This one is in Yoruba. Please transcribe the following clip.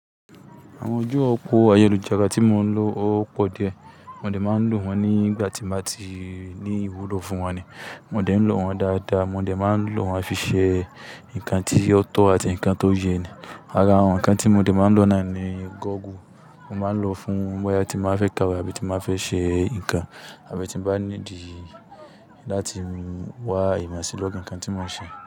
Àwọn ojú-òpó ayélujára tí mò ń lò ó pọ̀ díẹ̀. Mo dẹ máa ń lò wọ́n nígbà tí n bá ti ní ìwúlò fún wọn ni. Mo dẹ ń lò wọ́n dáadáa, mo dẹ máa ń lò wọ́n fi ṣe ǹkan tí ó tọ̀ọ àti ǹkan tó yẹ ni. Ara àwọn ǹkan tí mo dẹ máa ń lò náà ni gọ́ọ̀gù. Mo máa ń lò fún bóyá tí mo fẹ́ kawe àbí tí mo fẹ́ ṣe ǹkan, àbí tí mo bá ní ìdí láti wá ìmọ̀ sí lorì ǹkan tí mò ń ṣe.